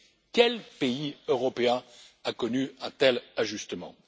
Quel pays européen a connu un tel ajustement?